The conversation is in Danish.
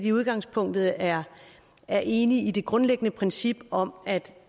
i udgangspunktet er er enig i det grundlæggende princip om at